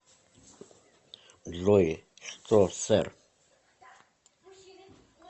джой что сэр